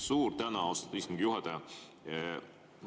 Suur tänu, austatud istungi juhataja!